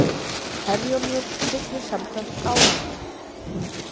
Herjólfur siglir samkvæmt áætlun